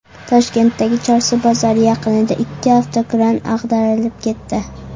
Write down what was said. Toshkentdagi Chorsu bozori yaqinida ikki avtokran ag‘darilib ketdi.